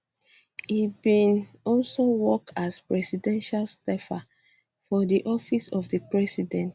e bin bin also work as presidential staffer for di office of di president